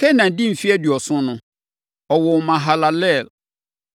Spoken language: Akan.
Kenan dii mfeɛ aduɔson no, ɔwoo Mahalalel.